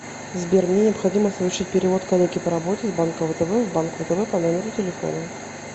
сбер мне необходимо совершить перевод коллеге по работе с банка втб в банк втб по номеру телефона